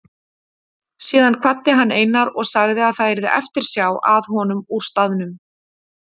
Síðan kvaddi hann Einar og sagði að það yrði eftirsjá að honum úr staðnum.